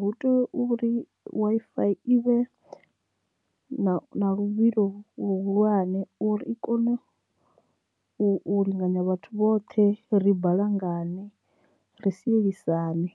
hu tea uri Wi-Fi i vhe na luvhilo luhulwane uri i kone u linganya vhathu vhoṱhe ri balangane ri sielisana.